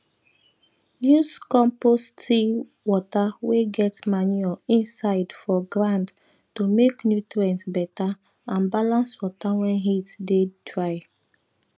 use compost tea water wey get manure inside for ground to make nutrients better and balance water when heat dey dry